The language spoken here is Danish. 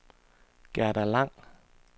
Gerda Lang